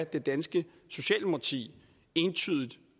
det danske socialdemokrati entydigt